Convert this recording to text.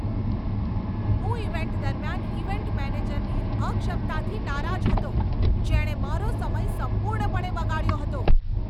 હું ઇવેન્ટ દરમિયાન ઇવેન્ટ મેનેજરની અક્ષમતાથી નારાજ હતો, જેણે મારો સમય સંપૂર્ણપણે બગાડ્યો હતો.